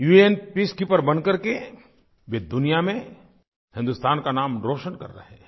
उन पीसकीपर बनकर के वे दुनिया में हिन्दुस्तान का नाम रोशन कर रहे हैं